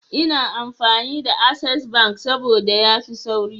Ina amfani da access bank sabda yafi sauri